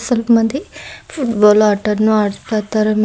ಮತ್ತೆ football ಆಟವನ್ನು ಆಡ್ಲತರ.